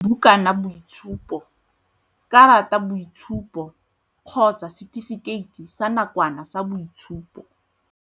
bukanaitshupo, karataitshupo kgotsa setifikeiti sa nakwana sa boitshupo.